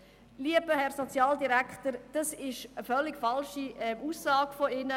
Lieber Herr Sozialdirektor, das ist eine völlig falsche Aussage von Ihnen.